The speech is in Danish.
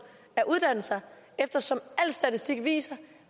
at uddanne sig eftersom al statistik viser at